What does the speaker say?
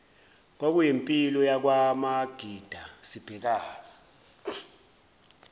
kwakuyimpilo yakwamagida sibhekane